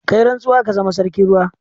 Ka yi rantsuwa ka zama sarkin ruwa.